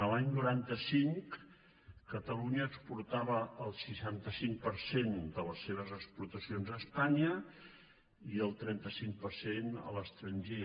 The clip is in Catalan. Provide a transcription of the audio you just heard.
l’any noranta cinc catalunya exportava el seixanta cinc per cent de les seves exportacions a espanya i el trenta cinc per cent a l’estranger